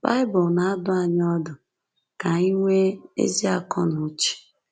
Baịbụl na-adụ anyị ọdụ ka anyị ‘nwee ezi akọ na uche.